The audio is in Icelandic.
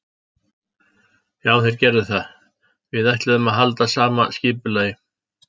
Já þeir gerðu það, við ætluðum að halda sama skipulagi.